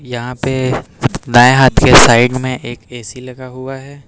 यहां पे दाएं हाथ के साइड में एक ए_सी लगा हुआ है।